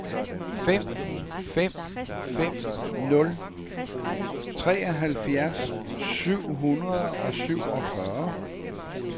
fem fem fem nul treoghalvfjerds syv hundrede og syvogfyrre